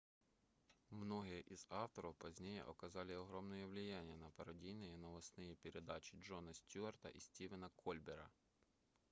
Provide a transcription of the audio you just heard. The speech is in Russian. многие из их авторов позднее оказали огромное влияние на пародийные новостные передачи джона стьюарта и стивена кольбера